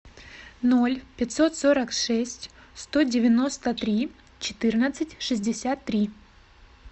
ноль пятьсот сорок шесть сто девяносто три четырнадцать шестьдесят три